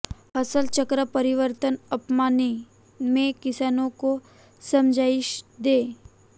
फसल चक्र परिवर्तन अपनाने में किसानों को समझाइश दें